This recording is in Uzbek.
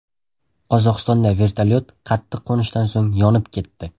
Qozog‘istonda vertolyot qattiq qo‘nishdan so‘ng yonib ketdi.